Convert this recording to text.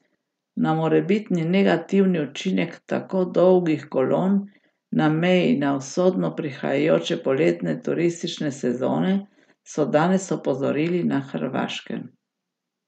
Na morebitni negativni učinek tako dolgih kolon na meji na usodo prihajajoče poletne turistične sezone so danes opozorili na Hrvaškem.